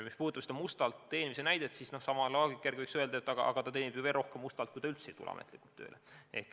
Mis puudutab mustalt teenimist, siis sama loogika järgi võiks öelda, et aga ta teenib ju mustalt veel rohkem, kui ta üldse ei tule ametlikult tööle.